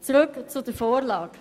Zurück zur Vorlage